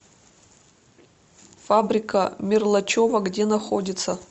фабрика мирлачева где находится